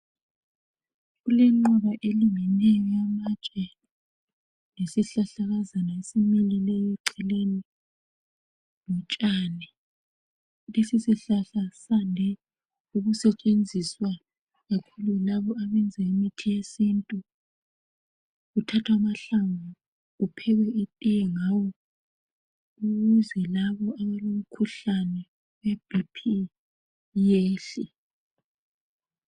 Kulengqwaba elingeneyo yamantshe lesihlahlakazana esimileyo eceleni lotshani. Lesi sihlahla sande ukusetshenziswa ngokhulu labo abenza imithi yesintu kuthathwa amahlamvu kuphekwe itiye ngawo ukuze labo abalomkhuhlane weBP yehle.